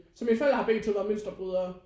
Så mine forældre har begge to været mønsterbrydere